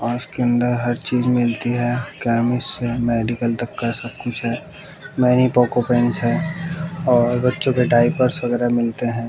कांच के अंदर हर चीज मिलती है मेडिकल तक का सब कुछ है मेनी पोको पैंट्स है और बच्चों के डायपर्स वगैरा मिलते हैं।